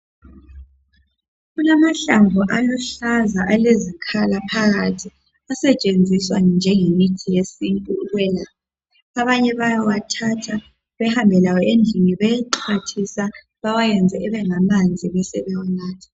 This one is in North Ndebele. Kulamahlamvu aluhlaza alezikhala phakathi asetshenziswa njengemithi yesintu ukwelapha. Abanye bayawathatha behambe lawo endlini beyexwathisa bewayenze ebengamanzi besebewanatha.